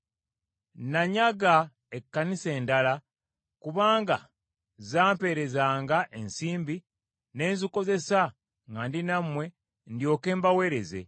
Nanyaga ekkanisa endala, kubanga zampeerezanga ensimbi ne nzikozesa nga ndi nammwe ndyoke mbaweereze,